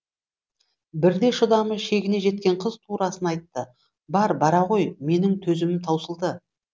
бірде шыдамы шегіне жеткен қыз турасын айтты бар бара ғой менің төзімім таусылды